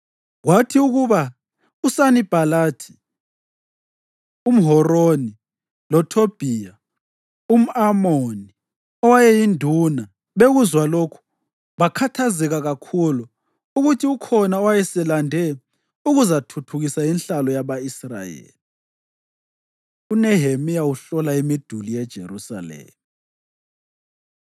Kwathi ukuba uSanibhalathi umHoroni loThobhiya umʼAmoni owayeyinduna bekuzwa lokhu, bakhathazeka kakhulu ukuthi ukhona owayeselande ukuzathuthukisa inhlalo yaba-Israyeli. UNehemiya Uhlola Imiduli YeJerusalema